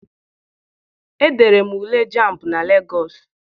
Edere m Ule jamb na Legọọsị.